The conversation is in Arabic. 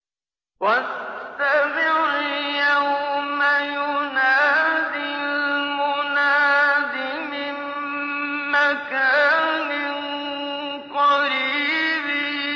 وَاسْتَمِعْ يَوْمَ يُنَادِ الْمُنَادِ مِن مَّكَانٍ قَرِيبٍ